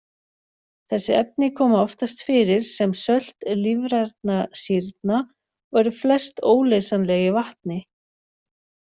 Þessi efni koma oftast fyrir sem sölt lífrænna sýrna og eru flest óleysanleg í vatni.